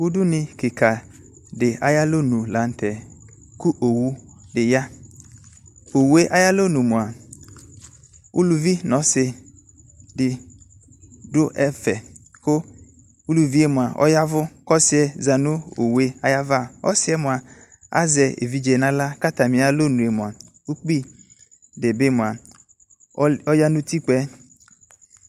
Udunu kika de aye alɔnu lantɛOwu de ya Owue ayalɔnu moa uluvi no ɔse de do ɛfɛ ko uluvie moa ɔyavu ko ɔsiɛ za no owue ayava Ɔsiɛ moa azɛ evidze no ala ko atane alɔnu moa ukpi de be moa ɔya no utikpɛ